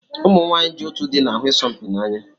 Ụmụ nwanyị ji otú dị na-ahụ isompi n'anya